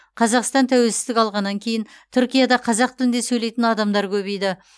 қазақстан тәуелсіздік алғаннан кейін түркияда қазақ тілінде сөйлейтін адамдар көбейді